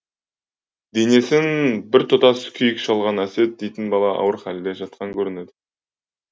денесін тұтас күйік шалған әсет дейтін бала ауыр халде жатқан көрінеді